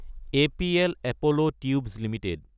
APL Apollo tubes Ltd